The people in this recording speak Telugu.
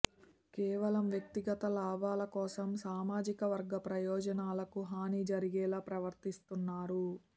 కేవలం వ్యక్తిగత లాభాల కోసం సామాజికవర్గ ప్రయోజనాలకు హాని జరిగేలా ప్రవర్తిస్తున్నారు